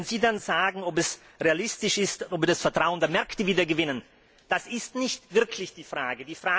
Wenn Sie dann fragen, ob es realistisch ist, ob wir das Vertrauen der Märkte wieder gewinnen das ist nicht wirklich die Frage.